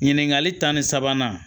Ɲininkali ta ni sabanan